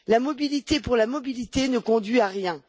La mobilité pour la mobilité ne conduit à rien.